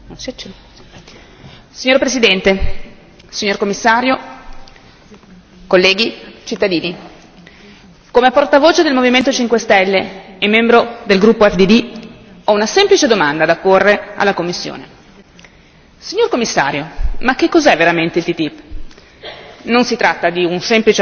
Signor Presidente, onorevoli colleghi, signor Commissario, cittadini, come portavoce del Movimento cinque stelle e membro del gruppo EFDD, ho una semplice domanda da porre alla Commissione signor Commissario, ma che cos'è veramente il TTIP? Non si tratta di un semplice accordo di libero scambio.